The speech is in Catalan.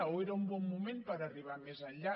o era un bon moment per arribar més enllà